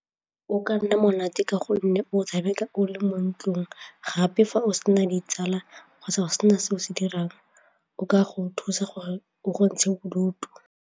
O ka nna monate ka gonne o tshameka o le mo ntlong gape fa o sena ditsala kgotsa go sena se o se dirang o ka go thusa gore o go ntshe bodutu.